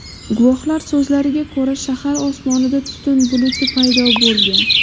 Guvohlar so‘zlariga ko‘ra, shahar osmonida tutun buluti paydo bo‘lgan.